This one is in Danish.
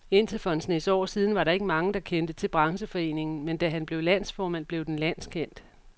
Indtil for en snes år siden var der ikke mange, der kendte til brancheforeningen, men da han blev landsformand, blev den landskendt.